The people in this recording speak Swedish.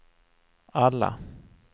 alla